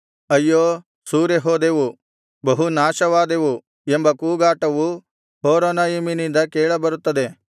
ಅಯ್ಯೋ ಸೂರೆ ಹೋದೆವು ಬಹು ನಾಶವಾದೆವು ಎಂಬ ಕೂಗಾಟವು ಹೊರೊನಯಿಮಿನಿಂದ ಕೇಳಬರುತ್ತದೆ